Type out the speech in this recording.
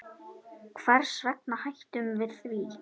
Hvers vegna hættum við því?